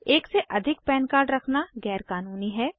एक से अधिक पन कार्ड रखना गैर क़ानूनी है